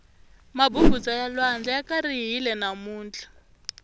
mabubutsa ya lwandle ya karihile namuntlha